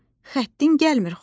Xəttim gəlmir xoşuma.